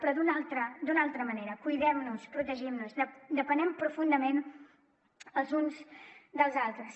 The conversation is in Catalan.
però d’una altra manera cuidem nos protegim nos depenem profundament els uns dels altres